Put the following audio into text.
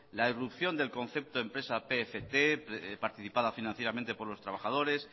la irrupción del concepto empresa pft participada financieramente por los trabajadores